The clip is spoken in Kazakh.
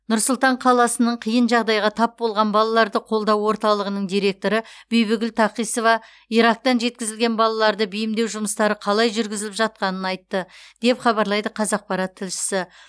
нұр сұлтан қаласының қиын жағдайға тап болған балаларды қолдау орталығының директоры бибігүл такисова ирактан жеткізілген балаларды бейімдеу жұмыстары қалай жүргізіліп жатқанын айтты деп хабарлайды қазақпарат тілшісі